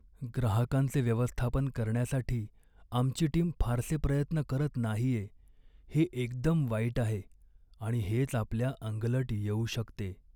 ग्राहकांचे व्यवस्थापन करण्यासाठी आमची टीम फारसे प्रयत्न करत नाहीये हे एकदम वाईट आहे आणि हेच आपल्या अंगलट येऊ शकते.